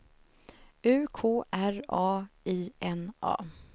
U K R A I N A